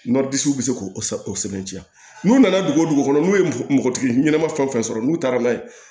bɛ se k'o sɛbɛntiya n'u nana dugu o dugu n'u ye npogotigi ɲɛnama fɛn o fɛn sɔrɔ n'u taara n'a ye